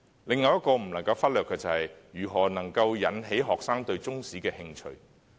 另一個不能忽略的，便是如何能夠引起學生對中史的興趣。